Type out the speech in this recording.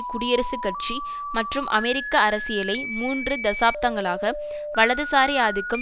குடியரசுக் கட்சி மற்றும் அமெரிக்க அரசியலை மூன்று தசாப்தங்களாக வலதுசாரி ஆதிக்கம்